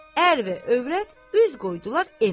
Ər və övrət üz qoydular evə tərəf.